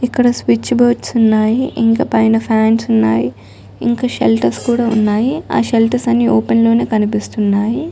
ఇక్కడ switch boards ఉన్నాయి ఇంకా పైన ఫాన్స్ ఉన్నాయి ఇంకా షెల్టర్స్ కూడా ఉన్నాయి ఆ షెల్టర్స్ అన్ని ఓపెన్ లోనే కనిపిస్తున్నాయి.